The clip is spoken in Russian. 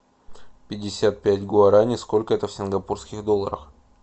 пятьдесят пять гуарани сколько это в сингапурских долларах